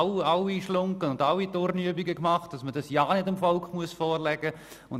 Es wurden alle «Schlunggen» und alle Turnübungen gemacht, damit man das ja nicht dem Volk vorlegen musste.